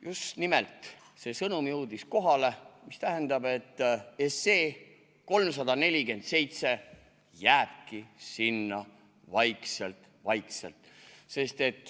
Just nimelt see sõnum jõudis kohale, mis tähendab, et 347 SE jääbki sinna vaikselt-vaikselt.